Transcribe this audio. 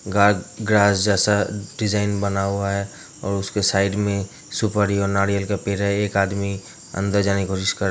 जैसा डिज़ाइन बना हुआ है और उसके साइड में सुपारी और नारियल का पेड़ है | एक आदमी अंदर जाने की कोशिश कर --